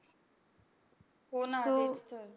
हो ना